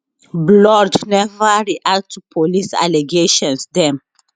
blord neva react to police allegations dem